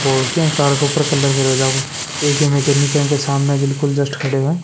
और किया कार के ऊपर कलर करे जागो एक यहा मिकैनिक यह के सामने बिल्कुल जस्ट खडियो है।